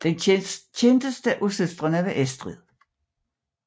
Den kendteste af søstrene var Estrid